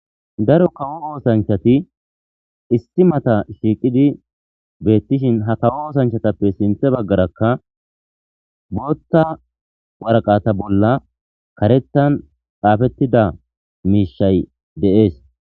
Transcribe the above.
Daro kawo oosanchati issi mata shiiqidi beettishin ha kawo oosanchatappe sinthe baggarakka bootta waraqata bolla karetan xaafettida miishay de'ees.